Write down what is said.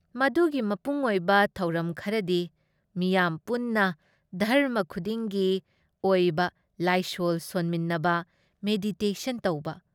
ꯃꯗꯨꯒꯤ ꯃꯄꯨꯡꯑꯣꯏꯕ ꯊꯧꯔꯝ ꯈꯔꯗꯤ ꯃꯤꯌꯥꯝ ꯄꯨꯟꯅ ꯙꯔꯃ ꯈꯨꯗꯤꯡꯒꯤ ꯑꯣꯏꯕ ꯂꯥꯏꯁꯣꯜ ꯁꯣꯟꯃꯤꯟꯅꯕ, ꯃꯦꯗꯤꯇꯦꯁꯟ ꯇꯧꯕ,